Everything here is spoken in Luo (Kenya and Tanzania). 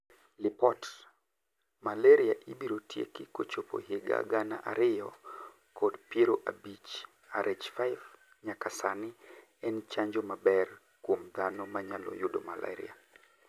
Lipot: Malaria ibiro tieki kochopo higa gana ariyo kod piero abich "Rh5 nyaka sani en chanjo maber kuom dhano manyalo yudo malaria,